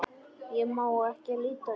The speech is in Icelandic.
Ég má ekki líta undan.